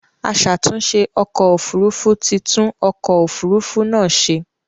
Aṣàtunṣè ọkọ̀ òfurufú ti tún ọkọ̀ òfurufú náà ṣe.